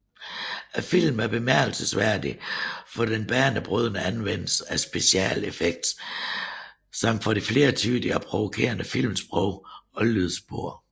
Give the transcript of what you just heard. Filmen er bemærkelsesværdig for den banebrydende anvendelse af special effects samt for det flertydige og provokerende filmsprog og lydspor